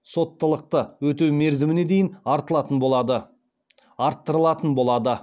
соттылықты өтеу мерзіміне дейін артылатын болады арттырылатын болады